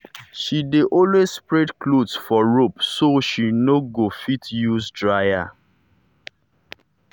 she dey always spread clothes for rope so she no go fit use dryer.